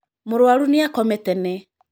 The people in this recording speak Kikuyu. Mũrũaru nĩ akoma tene.